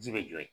Ji bɛ jɔ yen